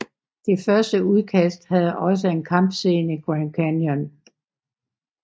Det første udkast havde også en kampscene i Grand Canyon